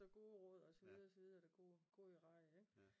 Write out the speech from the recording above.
Så gode råd og så videre og så videre